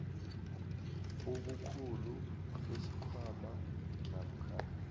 ubukhulu besikhwama namkha